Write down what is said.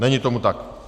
Není tomu tak.